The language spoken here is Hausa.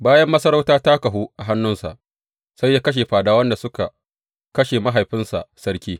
Bayan masarauta ta kahu a hannunsa, sai ya kashe fadawan da suka kashe mahaifinsa sarki.